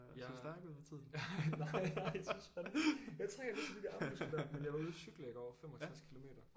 Jeg nej nej jeg synes fandeme jeg træner sådan de der armmuskler der men jeg var ude at cykle i går 65 kilometer